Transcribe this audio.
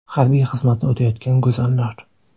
Harbiy xizmatni o‘tayotgan go‘zallar .